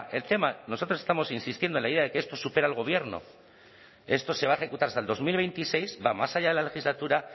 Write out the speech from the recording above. el tema nosotros estamos insistiendo en la idea de que esto supera al gobierno esto se va a ejecutar hasta el dos mil veintiséis va más allá de la legislatura